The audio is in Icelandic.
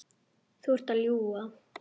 Þú ert að ljúga!